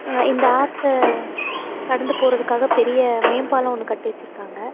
அ இந்த ஆத்த கடந்து போறதுக்காக பெரிய மேம்பாலோ ஒன்னு கட்டி வெச்சிருக்காங்க.